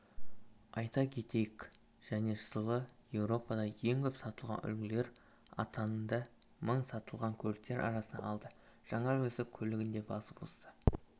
айта кетейік және жылы еуропада ең көп сатылған үлгілер атанды мың сатылған көліктер арасынан алды жаңа үлгісі көлігін де басып озды